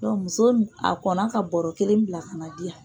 muso nin a kɔnna ka bɔɔrɔ kelen bila ka n'a di yan.